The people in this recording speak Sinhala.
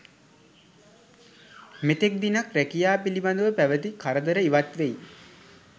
මෙතෙක් දිනක් රැකියා පිළිබඳව පැවති කරදර ඉවත් වෙයි.